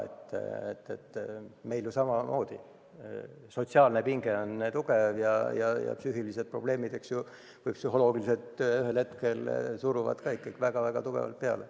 Me oleme ju samamoodi tugeva sotsiaalse pinge all ja psühholoogilised probleemid suruvad ühel hetkel ikka väga tugevalt peale.